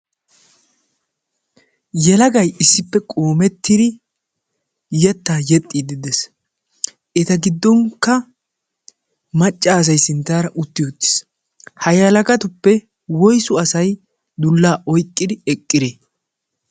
yalagay issippe qoomettidi yettaa yexxiiddi dees eta giddonkka macca asay sinttaara utti uttiis hay halagatuppe woysu asay dullaa oyqqidi eqqire